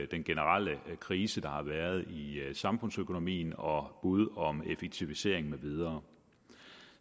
den generelle krise der har været i samfundsøkonomien og bud om effektivisering med videre